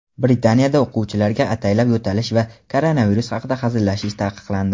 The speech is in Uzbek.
Britaniyada o‘quvchilarga ataylab yo‘talish va koronavirus haqida hazillashish taqiqlandi.